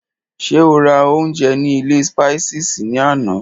Ṣé o rà oúnjẹ ní ilé Spices ní àná?